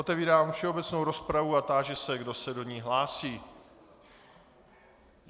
Otevírám všeobecnou rozpravu a táži se, kdo se do ní hlásí.